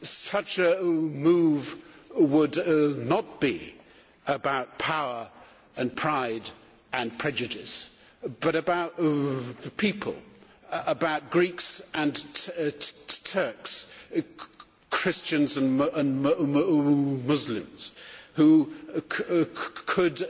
Such a move would not be about power and pride and prejudice but about the people about Greeks and Turks, Christian and Muslims who could